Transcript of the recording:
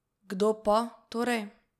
Kdo pa, torej?